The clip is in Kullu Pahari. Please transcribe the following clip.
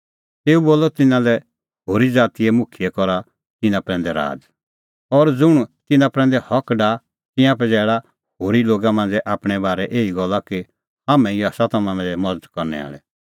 तेऊ बोलअ तिन्नां लै इहअ होरी ज़ातीए मुखियै करा तिन्नां प्रैंदै राज़ और ज़ुंण तिन्नां प्रैंदै हक डाहा तिंयां पजैल़ा होरी लोगा मांझ़ै आपणैं बारै एही गल्ला कि हाम्हैं ई आसा तम्हां लै मज़त करनै आल़ै